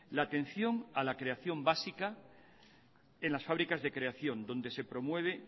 la atención a la creación básica en las fábricas de creación donde se promueve